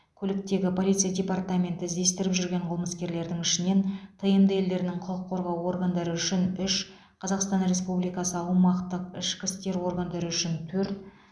көліктегі полиция департаменті іздестіріп жүрген қылмыскерлердің ішінен тмд елдерінің құқық қорғау органдары үшін үш қазақстан республикасы аумақтық ішкі істер органдары үшін төрт